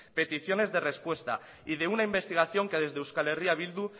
peticiones de respuesta y de una investigación que desde eh bildu